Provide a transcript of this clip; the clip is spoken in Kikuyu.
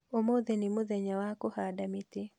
Ũmũthĩ nĩ mũthenya wa kũhanda mĩtĩ